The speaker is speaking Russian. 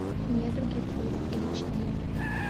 недруги фул эйч ди